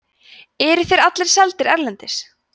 eru þeir allir seldir erlendis